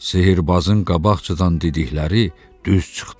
Sehrbazın qabaqcadan dedikləri düz çıxdı.